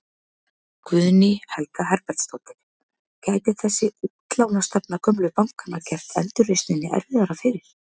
Guðný Helga Herbertsdóttir: Gæti þessi útlánastefna gömlu bankanna gert endurreisninni erfiðara fyrir?